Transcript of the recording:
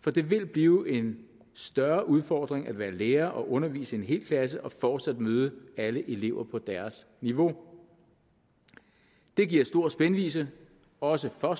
for det vil blive en større udfordring at være lærer og undervise en hel klasse og fortsat møde alle elever på deres niveau det giver stor spændvidde også for